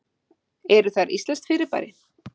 Eru þær íslenskt fyrirbæri?